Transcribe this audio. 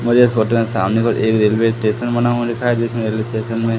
मुझे इस फोटो में सामने को एक रेलवे स्टेशन बना हुआ दिखाई जिस रेलवे स्टेशन में--